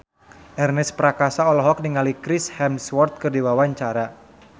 Ernest Prakasa olohok ningali Chris Hemsworth keur diwawancara